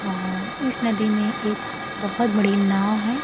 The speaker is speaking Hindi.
और इस नदी में एक बहोत बड़ी नाव है।